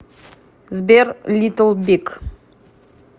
сбер литл биг